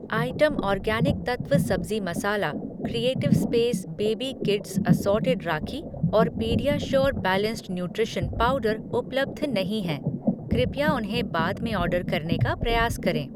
Item Organic Tattva सब्ज़ी मसाला, creative space baby kids assorted rakhi और पीडियाश्योर बैलेंस्ड न्यूट्रिशन पाउडर उपलब्ध नहीं हैं, कृपया उन्हें बाद में ऑर्डर करने का प्रयास करें।